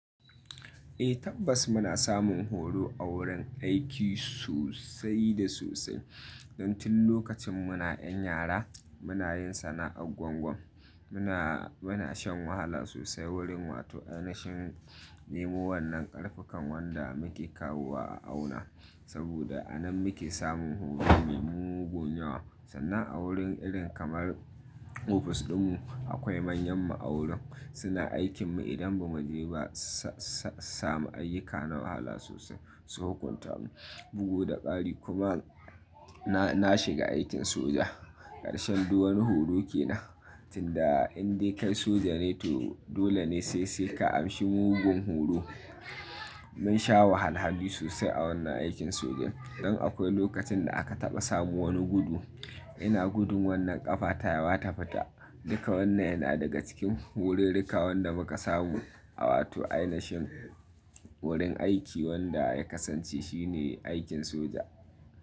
Eh tabbas muna samun horo a wurin aiki sosai da sosai. Don tun lokacin muna 'yan yara muna yin sana'ar gwangwam, muna, muna shan wahala sosai wurin wato ainashen nemo wannan ƙarfukan wanda muke kawowa a auna. Saboda a nan muke samun horo me mugun yawa. Sana'a wurin irin kamar ofis ɗinmu akwai manyan ma'aunin suna aikinmu idan ba mu je ba sa, sa, samu ayyuka na wahala sosai su hukunta mu. Bugu da ƙari kuma na, na shiga aikin soja ƙarshen duwanni horo ke nan. Tun da in dai kai soja ne to dole ne sai sai ka amshi mugun horo. Mun sha wahalhaloli sosai a wannan aikin sojan. Don akwai lokacin da aka taɓa samu wani gudu, ina gudun wannan ƙafa tayi wata fata. Duka wannan yana daga cikin horo duka wanda muka samu a wato ainashen wurin aiki wanda ya kasance shine aikin soja.